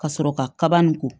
Ka sɔrɔ ka kaba nin ko